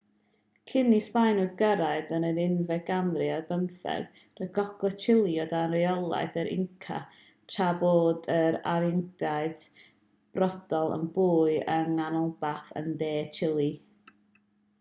cyn i'r sbaenwyr gyrraedd yn yr unfed ganrif ar bymtheg roedd gogledd chile o dan reolaeth yr inca tra bod yr aruacaniaid mapuche brodorol yn byw yng nghanolbarth a de chile